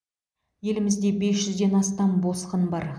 елімізде бес жүзден астам босқын бар